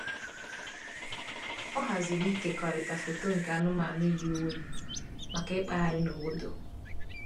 Ọ haziri ịkekọrịta foto nke anụmanụ yi uwe maka ịkpagharị n'obodo.